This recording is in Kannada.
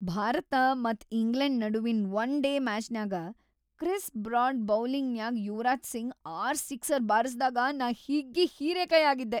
ಭಾರತ ಮತ್ ಇಂಗ್ಲೆಂಡ್ ನಡುವಿನ್‌ ಒನ್‌ ಡೇ ಮ್ಯಾಚ್‌ನ್ಯಾಗ ಕ್ರಿಸ್ ಬ್ರಾಡ್ ಬೌಲಿಂಗ್‌ನ್ಯಾಗ್ ಯುವರಾಜ್‌ ಸಿಂಗ್‌ ಆರ್‌ ಸಿಕ್ಸರ್‌ ಬಾರಸ್ದಾಗ ನಾ ಹಿಗ್ಗಿ ಹೀರಿಕಾಯ್‌ ಆಗಿದ್ದೆ.